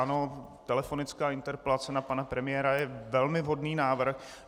Ano, telefonická interpelace na pana premiéra je velmi vhodný návrh.